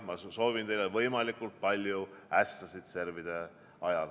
Ma soovin teile võimalikult palju ässasid servide ajal.